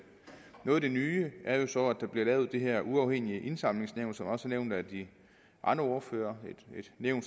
noget af det nye er jo så at der bliver lavet det her uafhængige indsamlingsnævn som også er nævnt af de andre ordførere et nævn